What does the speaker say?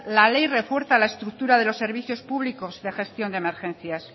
la ley refuerza la estructura de los servicios públicos de gestión de emergencias